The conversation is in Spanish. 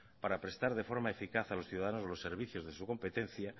para prestar de forma eficaz a los ciudadanos los servicios de su competencia